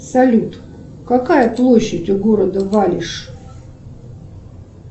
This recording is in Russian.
салют какая площадь у города валишь